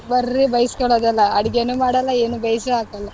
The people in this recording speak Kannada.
ಹ್ಮ್ಹೌದು ಬರೀ ಬೈಸ್ಕೊಳೋದಲ ಅಡಿಗೇನು ಮಾಡಲ್ಲ ಏನು ಬೇಯ್ಸು ಹಾಕಲ್ಲ.